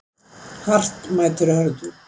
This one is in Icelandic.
Hart mætir hörðu